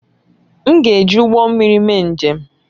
M ga-eji ụgbọ mmiri mee njem